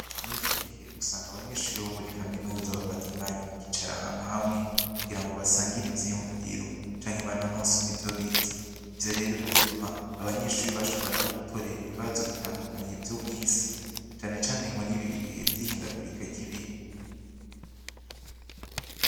Muri iki gihe usanga abanyeshuri bo muri kaminuza bafata umwanya bakicara ahantu hamwe kugira ngo basangire ivyiyumviro canke banonosora ivyo biza ivyo rero bigatuma abanyeshuri bashobora no gutorera ibibazo bitandukanye ivyo mw'isi canecane muri ibi bihevye ihindagurika ryibihe.